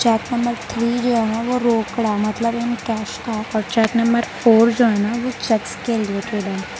Cheque number three जो है वह रोकड़ा मतलब कैश काम चैक नंबर फोर जो है न ओ चेक्स है।